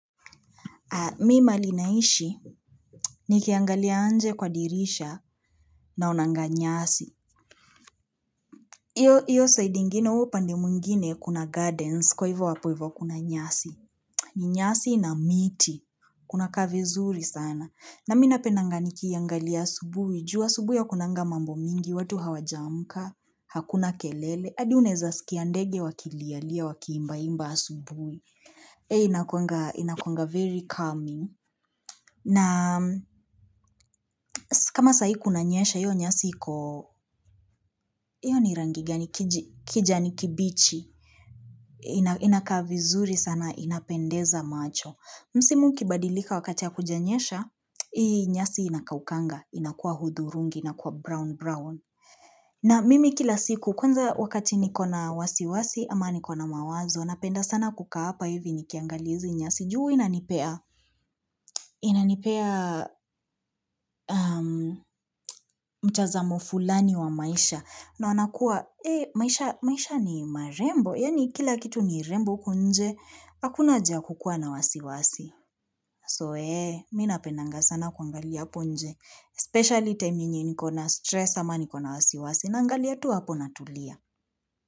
Mi mahali naishi nikiangalia nje kwa dirisha naonanga nyasi. Iyo side ingine huo upande mwngine kuna gardens kwa hivyo hapo hivyo kuna nyasi. Ni nyasi na miti. Kunakaa vizuri sana. Na mi napendanga nikiiangalia asubuhi. Juu asubuhi hakunanga mambo mingi, watu hawajaamka, hakuna kelele. Hadi unaeza sikia ndege wakilia lia wakiimba imba asubuhi. Eh inakuanga, inakuanga very calming. Na kama sai kunanyesha iyo nyasi iko, iyo ni rangi gani kijani kibichi, inakaa vizuri sana inapendeza macho. Msimu ukibadilika wakati hakujanyesha, hii nyasi inakaukanga, inakua hudurungi, inakua brown brown. Na mimi kila siku, kwanza wakati nikona wasiwasi ama nikona mawazo, napenda sana kukaa hapa hivi nikiangalia hizi nyasi. Juu hua inanipea mtazamo fulani wa maisha naona kuwa maisha ni marembo. Yaani kila kitu ni rembo huku nje, hakuna haja ya kukua na wasiwasi. So, eh, mi napendanga sana kuangalia hapo nje. Especially time yenye niko na stress ama niko na wasiwasi naangalia tu hapo natulia.